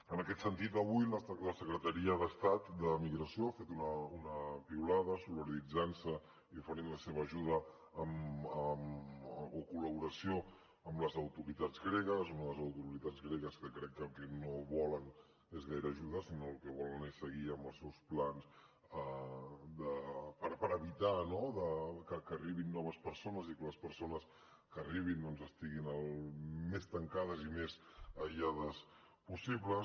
en aquest sentit avui la secretaria d’estat de migració ha fet una piulada solidaritzant se i oferint la seva ajuda o col·laboració amb les autoritats gregues unes autoritats gregues que crec que el que no volen és gaire ajuda sinó que el que volen és seguir amb els seus plans per evitar que arribin noves persones i que les persones que arribin estiguin el més tancades i més aïllades possible